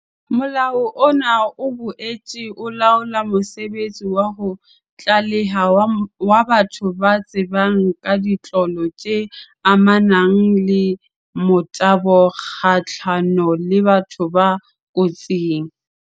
Molao ona o boetse o laola mosebetsi wa ho tlaleha wa batho ba tsebang ka ditlolo tse amanang le motabo kgahlano le batho ba kotsing.